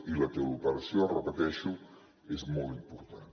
i la teleoperació ho repeteixo és molt important